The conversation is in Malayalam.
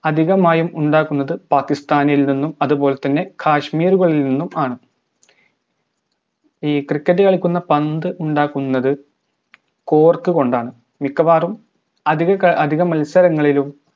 അധികമായും ഉണ്ടാക്കുന്നത് Pakistan ഇൽ നിന്നും അതുപോലെതന്നെ kashmir കളി നിന്നുമാണ് ഈ cricket കളിക്കുന്ന പന്ത് ഉണ്ടാക്കുന്നത് cork കൊണ്ടാണ് മിക്കവാറും അധിക ക അധിക മത്സരങ്ങളിലും